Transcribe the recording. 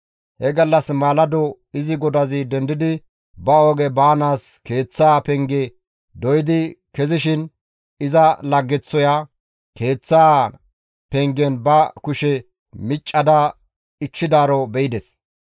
He gallas maalado izi godazi dendidi ba oge baanaas keeththaa penge doydi kezishin iza laggeththoya keeththaa pengen ba kushe miccada ichchidaaro be7ides.